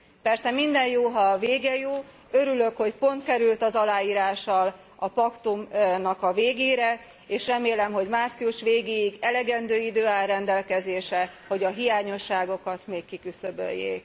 Persze minden jó, ha a vége jó, örülök, hogy pont kerül az aláírással a paktumnak a végére, és remélem, hogy március végéig elegendő idő áll rendelkezésre, hogy a hiányosságokat még kiküszöböljék.